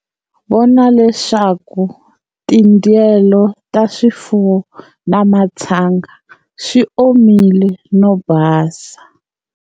Vona leswaku tindyelo ta swifuwo na matshanga swi omile no basa.